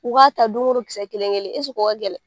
U k'a ta dongo don kisɛ kelen kelen o ka gɛlɛn.